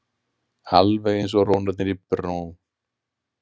Alveg eins og rónarnir í Brno.